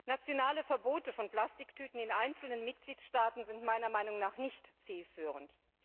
Nationale Verbote von Plastiktüten in einzelnen Mitgliedstaaten sind meiner Meinung nach nicht zielführend.